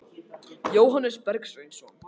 Jóhannes Bergsveinsson.